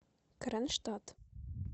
кронштадт